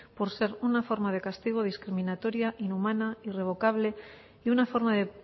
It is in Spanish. por ser una forma de castigo discriminatoria inhumana irrevocable y una forma de